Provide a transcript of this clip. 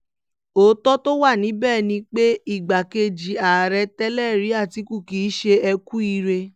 òótọ́ tó wà níbẹ̀ ni pé igbákejì ààrẹ tẹ́lẹ̀rí àtìkù kì í ṣe eku ire